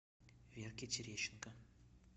верке терещенко